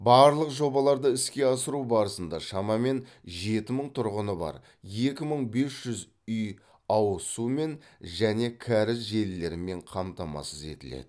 барлық жобаларды іске асыру барысында шамамен жеті мың тұрғыны бар екі бес жүз үй ауыз сумен және кәріз желілерімен қамтамасыз етіледі